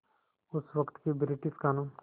उस वक़्त के ब्रिटिश क़ानून